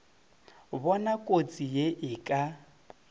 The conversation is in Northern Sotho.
bona kotsi ye e ka